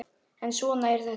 En svona er þetta.